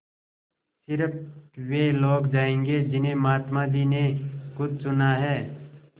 स़िर्फ वे लोग जायेंगे जिन्हें महात्मा जी ने खुद चुना है